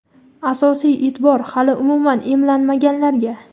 Asosiy eʼtibor – hali umuman emlanmaganlarga.